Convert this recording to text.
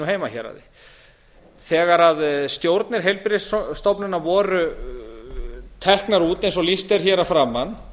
heimahéraði þegar stjórnir heilbrigðisstofnana voru teknar út eins og lýst er hér að framan